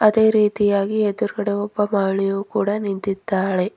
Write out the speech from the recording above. ಅದೇ ರೀತಿಯಾಗಿ ಎದುರಗಡೆ ಒಬ್ಬ ಮಾಳಿಯು ಕೂಡ ನಿಂತಿದ್ದಾಳೆ.